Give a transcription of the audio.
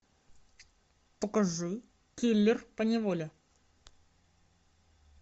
покажи киллер поневоле